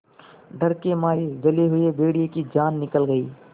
डर के मारे जले हुए भेड़िए की जान निकल गई